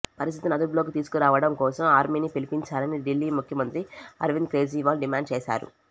పరిస్థితిని అదుపులోకి తీసుకురావడం కోసం ఆర్మీని పిలిపించాలని ఢిల్లీ ముఖ్యమంత్రి అరవింద్ కేజ్రీవాల్ డిమాండ్ చేశారు